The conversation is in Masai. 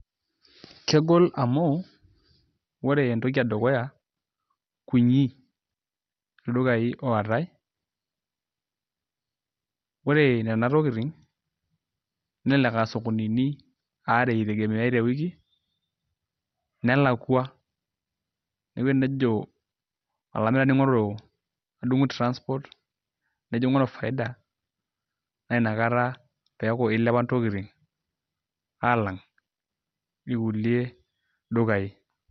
Kegol amu ore entoki edukuya kunyi ildukayi ootai, ore nena tokitin nelelek aa sokonini aare etegemei tewiki, nelakua neeku enejo olamirani adunku transport nejo aingoru faida naa nakata eeku ilepa intokitin alang' ilkulie dukayi.